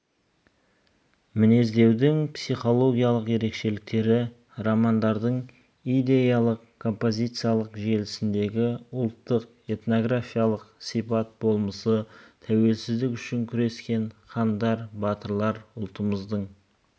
мінездеудің психологиялық ерекшеліктері романдардың идеялық-композициялық желісіндегі ұлттық этнографиялық сипат болмысы тәуелсіздік үшін күрескен хандар батырлар ұлтымыздың